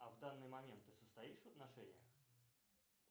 а в данный момент ты состоишь в отношениях